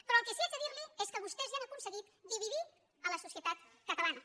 però el que sí que haig de dir li és que vostès ja han aconseguit dividir la societat catalana